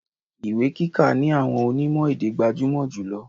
Ìwé kíka ni àwọn onimo-èdè gbajumọ julọ.